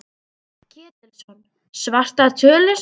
Páll Ketilsson: Svartar tölur?